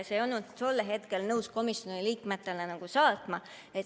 Sa ei olnud tol hetkel nõus seda komisjoni liikmetele saatma.